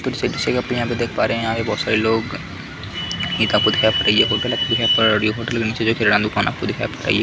देख पा रहे यहाँ पे बहुत सारे लोग एक आपको दिखाई पड़ेगी एक आपको गलत दिखाई पड़ रही होगी होटल के नीचे किराना दूकान आपको दिखाई पड़ रही --